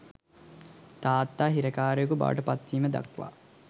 තාත්තා හිරකාරයකු බවට පත්වීම දක්වා